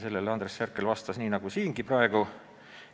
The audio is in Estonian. Andres Herkel vastas sellele nii nagu praegu siin.